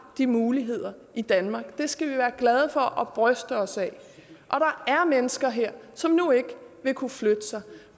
de muligheder i danmark det skal vi være glade for og bryste os af der er mennesker her som nu ikke vil kunne flytte sig